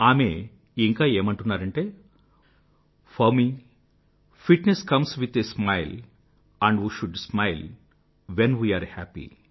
ఆమె ఇంకా ఏమంటున్నారంటే for me fitness comes with a smiles and we should smile when we are happy